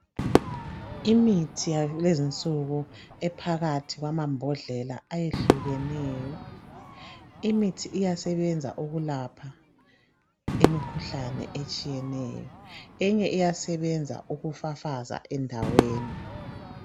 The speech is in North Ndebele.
Imithi yakulezinsuku ephakathi kwamambodlela ayehlukeneyo. Imithi iyasebenza ukulapha imikhuhlane etshiyeneyo eyinye iyasebenza ukufafaza endaweni.